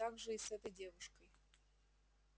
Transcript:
так же и с этой девушкой